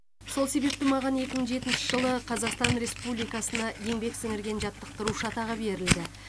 сол себепті маған екі мың жетінші жылы қазақстан республикасына еңбек сіңірген жаттықтырушы атағы берілді